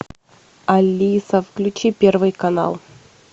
алиса включи первый канал